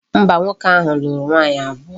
Mba, nwoke ahu lulu nwaanyi abuo.